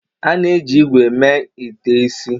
A na-eji ígwè mee ite isi.